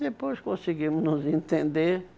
depois conseguimos nos entender.